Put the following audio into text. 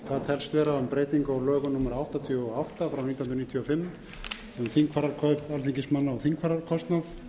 lögum númer áttatíu og átta nítján hundruð níutíu og fimm um þingfararkaup alþingismanna og þingfararkostnað